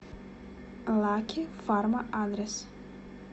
лаки фарма адрес